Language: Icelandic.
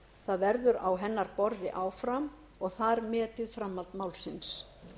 það verður á hennar borði áfram og þar metið framhald málsins